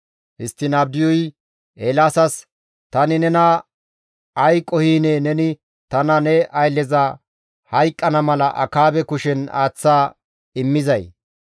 Histtiin Abdiyuy Eelaasas, «Tani nena ay qohinee neni tana ne aylleza hayqqana mala Akaabe kushen aaththa immizay?